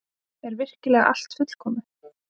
Er virkilega allt fullkomið?